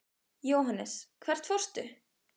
Jóhannes: Hvert fórstu?